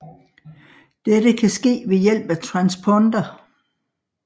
Dette kan ske ved hjælp af transponder